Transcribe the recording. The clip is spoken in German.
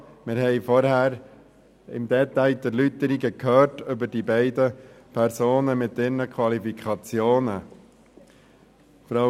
Wir haben vorher im Detail die Erläuterungen betreffend die beiden Personen und ihre Qualifikationen gehört: